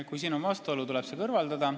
Kui siin on vastuolu, siis tuleb see kõrvaldada.